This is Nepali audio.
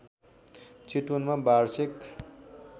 चितवनमा वार्षिक